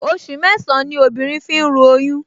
Oṣù mẹ́sàn-án ní obìnrin fi ń ru oyún